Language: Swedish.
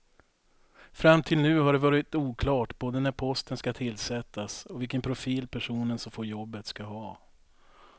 Fram till nu har det varit oklart både när posten ska tillsättas och vilken profil personen som får jobbet ska ha.